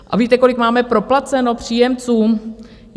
A víte, kolik máme proplaceno příjemcům?